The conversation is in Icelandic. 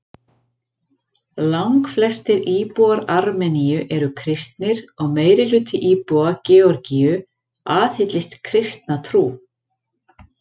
Langflestir íbúar Armeníu eru kristnir og meirihluti íbúa Georgíu aðhyllist kristna trú.